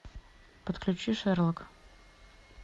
подключи шерлок